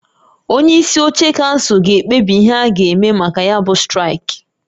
Onye isi oche kansụl ga-ekpebi ihe a ga-eme maka ya bụ straịkị